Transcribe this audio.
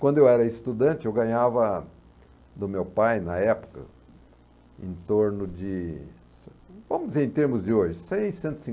Quando eu era estudante, eu ganhava do meu pai, na época, em torno de, vamos dizer em termos de hoje, seiscentos e